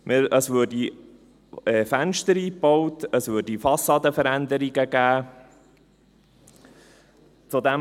Es würden Fenster eingebaut, es würde Fassadenveränderungen geben.